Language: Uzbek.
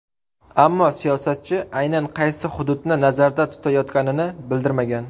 Ammo siyosatchi aynan qaysi hududni nazarda tutayotganini bildirmagan.